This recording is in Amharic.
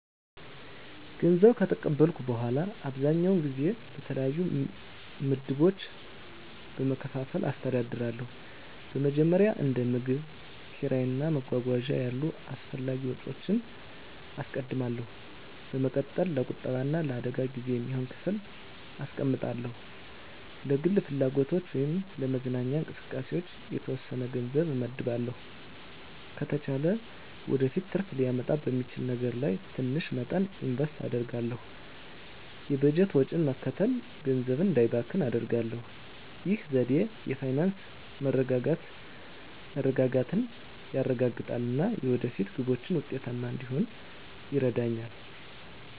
ገንዘብ ከተቀበልኩ በኋላ, አብዛኛውን ጊዜ በተለያዩ ምድቦች በመከፋፈል አስተዳድራለሁ. በመጀመሪያ፣ እንደ ምግብ፣ ኪራይ እና መጓጓዣ ያሉ አስፈላጊ ወጪዎችን አስቀድማለሁ። በመቀጠል፣ ለቁጠባ እና ለአደጋ ጊዜ የሚሆን ክፍል አስቀምጣለሁ። ለግል ፍላጎቶች ወይም ለመዝናኛ እንቅስቃሴዎች የተወሰነ ገንዘብ እመድባለሁ። ከተቻለ ወደፊት ትርፍ ሊያመጣ በሚችል ነገር ላይ ትንሽ መጠን ኢንቨስት አደርጋለሁ። የበጀት ወጪን መከተል ገንዘቤ እንዳይባክን አደርጋሁ። ይህ ዘዴ የፋይናንስ መረጋጋትን ያረጋግጣል እና የወደፊት ግቦችን ውጤታማ እንድሆን ይረዳኛል.